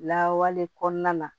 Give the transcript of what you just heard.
Lawawale kɔnɔna na